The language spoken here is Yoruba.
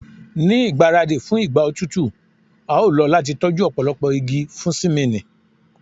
Ni igbaradi fun igba otutu a lo lati tọju ọpọlọpọ igi fun simini